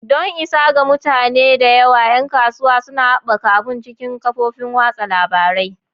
Don isa ga mutane da yawa, 'yan kasuwa suna haɓaka abun cikin kafofin watsa labarai.